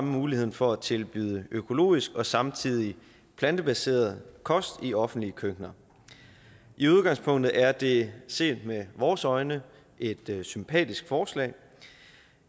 muligheden for at tilbyde økologisk og samtidig plantebaseret kost i offentlige køkkener i udgangspunktet er det set med vores øjne et sympatisk forslag